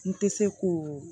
N tɛ se ko